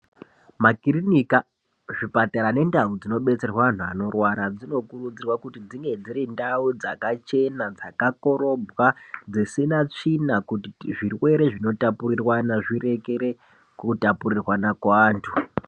Makirinika, zvipatara nendau zvinobetserwa antu anorwara dzinokurudzirwa kuti dzinge dziri ndau dzakachena, dzakakorobwa dzisina tsvina kuti zvirwere zvinotapuriramwa zvirekere kutapurirwana kuantu.